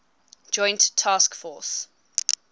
joint task force